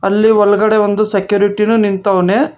ಅಲ್ಲಿ ಒಳಗಡೆ ಒಂದು ಸೆಕ್ಯೂರಿಟಿನೂ ನಿಂತವ್ನೆ.